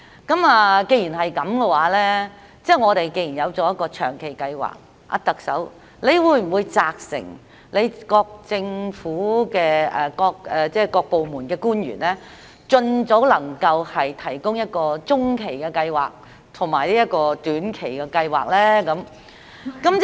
既然我們已有長期計劃，特首，你會不會責成各部門的官員，盡早提供中期和短期計劃？